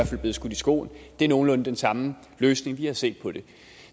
fald blive skudt i skoene det er nogenlunde den samme løsning vi har set på